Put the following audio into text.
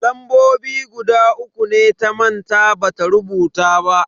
Lambobi guda uku ne ta manta bata rubuta ba.